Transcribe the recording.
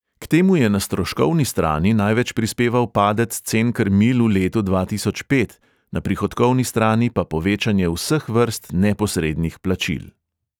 K temu je na stroškovni strani največ prispeval padec cen krmil v letu dva tisoč pet, na prihodkovni strani pa povečanje vseh vrst neposrednih plačil.